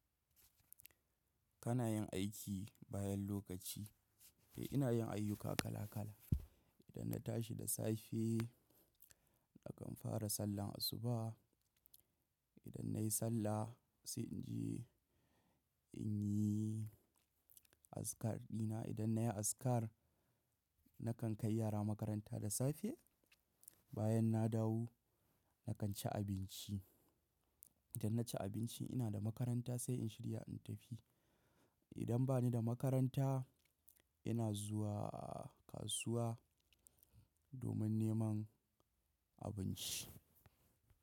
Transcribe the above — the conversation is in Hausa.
Kana yin aiki bayan lokaci? Eh, ina yin ayyuka kala kala. Idan na tashi da safe, nakan fara sallar asuba. Idan nayi sallah sai in je inyi azkar dina. Idan nayi azkar, na kan kai yara makaranta da safe. Bayan na dawo, na kan ci abinci. Idan na ci abinci ina da makaranta sai in shirya in tafi. Idan bani da makaranta, ina zuwa kasuwa domin neman abinci.